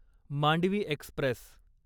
Mandvi Express